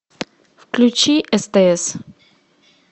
включи стс